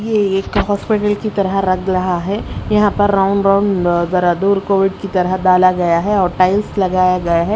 ये एक हॉस्पिटल की तरह रग लहा है यहां पर राउंड राउंड की तरह डाला गया है और टाइल्स लगाया गया है।